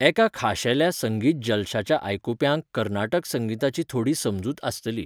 एका खाशेल्या संगीत जलशाच्या आयकुप्यांक कर्नाटक संगीताची थोडी समजूत आसतली.